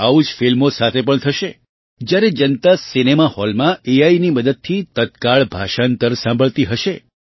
આવું જ ફિલ્મો સાથે પણ થશે જ્યારે જનતા સિનેમા હૉલમાં એઆઈની મદદથી તત્કાળ ભાષાંતર સાંભળતી હશે